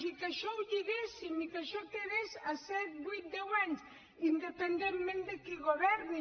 i que això ho lliguéssim i que això quedés a set vuit deu anys independentment de qui governi